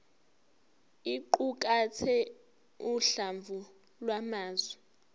iqukathe uhlamvu lwamazwi